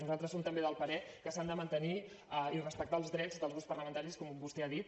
nosaltres som també del parer que s’han de mantenir i respectar els drets dels grups parlamentaris com vostè ha dit